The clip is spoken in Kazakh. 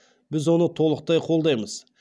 біз оны толықтай қолдаймыз